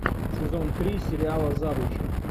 сезон три сериала завучи